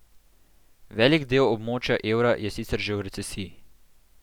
Velik del območja evra je sicer že v recesiji.